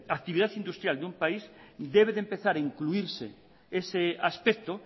la actividad industrial de un país debe de empezar a incluirse ese aspecto